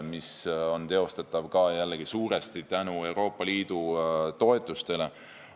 See on teostatav jällegi suuresti tänu Euroopa Liidu toetustele.